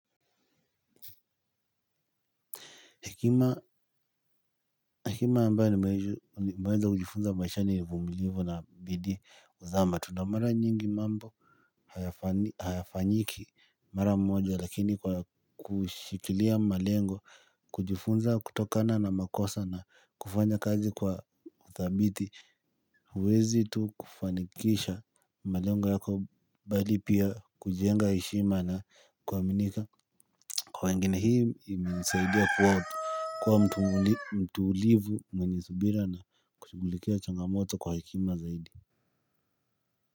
Hekima ambayo nimeweza kujifunza maishani ni uvumilivu na bidii huzaa matunda mara nyingi mambo hayafanyiki mara mmoja. Lakini kwa kushikilia malengo kujifunza kutokana na makosa na kufanya kazi kwa udhabiti huwezi tu kufanikisha malengo yako bali pia kujenga heshima na kuaminika. Kwa wengine hii imenisaidia kuwa mtu kuwa mtulivu mwenye subira na kushughulikia changamoto kwa hekima zaidi.